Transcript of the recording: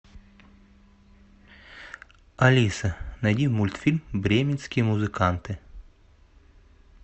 алиса найди мультфильм бременские музыканты